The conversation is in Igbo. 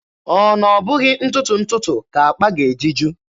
Ọ na ọ bụghị ntụtụ ntụtụ ka akpa ga-eji ju?